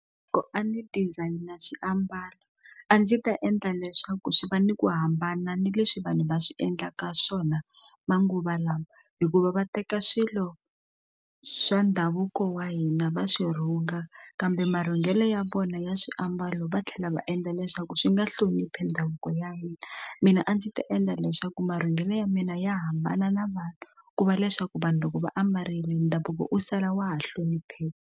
A ndzi designer swiambalo a ndzi ta endla leswaku swi va ni ku hambana ni leswi vanhu va swi endlaka swona manguva lawa hikuva va teka swilo swa ndhavuko wa hina va swi rhunga kambe mavhengele ya vona ya swiambalo va tlhela va endla leswaku swi nga hloniphi ndhavuko ya hina mina a ndzi ta endla leswaku marungulo ya mina ya hambana na vanhu ku va leswaku vanhu loko va ambarile ndhavuko u sala wa ha hlonipheka.